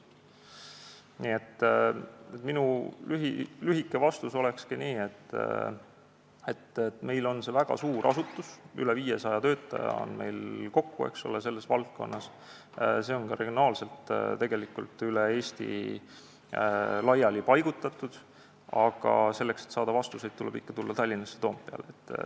Nii et minu lühike vastus ongi, et meil on väga suur asutus, üle 500 töötaja on seal kokku, nad on regionaalselt üle Eesti laiali paigutatud, aga selleks, et saada vastuseid, tuleb ikka tulla Tallinnasse Toompeale.